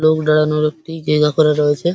লোক দাঁড়ানোর একটি জায়গা করা রয়েছে।